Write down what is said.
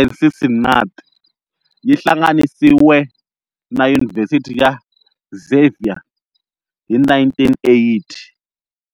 eCincinnati, yi hlanganisiwe na Yunivhesiti ya Xavier hi 1980.